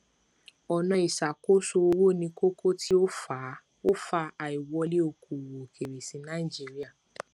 ọnà iṣàkósoowó ni kókó tí ó fa ó fa àìwọlé okòòwò òkèèrè sí nàìjíríà